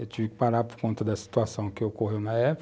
Eu tive que parar por conta da situação que ocorreu na época.